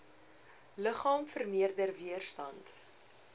liggaam vermeerder weerstand